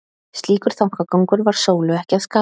Slíkur þankagangur var Sólu ekki að skapi.